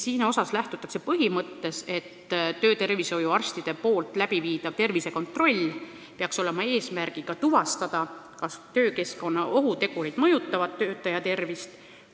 Siin lähtutakse põhimõttest, et töötervishoiuarsti tehtava tervisekontrolli eesmärk peaks olema tuvastada, kas töökeskkonna ohutegurid mõjutavad töötaja tervist.